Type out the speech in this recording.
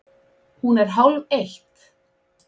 Hún er hálfeitt!